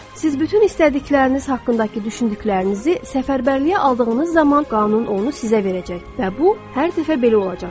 Siz bütün istədikləriniz haqqındakı düşündüklərinizi səfərbərliyə aldığınız zaman qanun onu sizə verəcək və bu hər dəfə belə olacaqdır.